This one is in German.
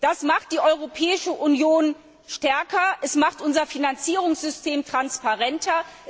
Das macht die Europäische Union stärker, es macht unser Finanzierungssystem transparenter.